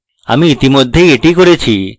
আমি ইতিমধ্যেই এটি করেছি